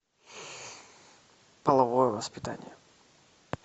половое воспитание